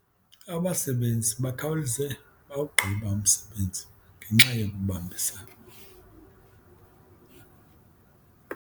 Abasebenzi bakhawuleze bawugqiba umsebenzi ngenxa yokubambisana.